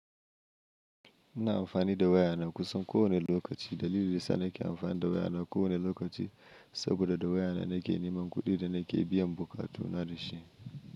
Ina amfani da wayana kusan kowane lokaci. Dalilin dayasa nake amfani da wayana kowane lokaci saboda da wayana nake neman kuɗi da nake biyan buƙatuna dashi.